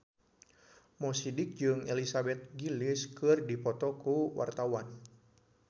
Mo Sidik jeung Elizabeth Gillies keur dipoto ku wartawan